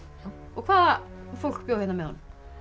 hvaða fólk bjó hérna með honum